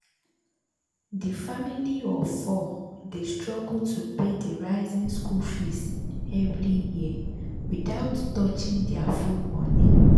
the family of four dey struggle to pay the rising school fees every year without touching their food money.